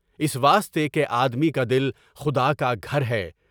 اس واسطے کہ آدمی کا دل خدا کا گھر ہے۔